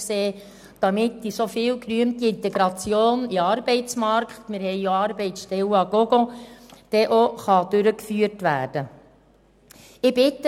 Dies, damit die viel gerühmte Integration in den Arbeitsmarkt – es gibt ja Arbeitsstellen à gogo – wirklich realisiert werden kann.